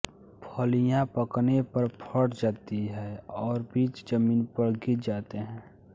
फलियाँ पकने पर फट जाती हैं और बीज जमीन पर गिर जाते हैं